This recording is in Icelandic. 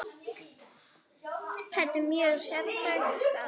Þetta er mjög sérhæft starf.